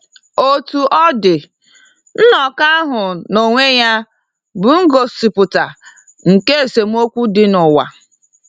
Otú ọ dị, nnọkọ ahụ n’onwe ya bụ ngosipụta nke esemokwu dị n’ụwa.